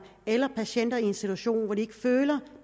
eller patienter i en situation hvor de føler